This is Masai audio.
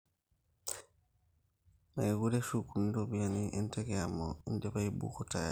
mekure eshukuni ropiyani enteke amu idipa aibuuko tayari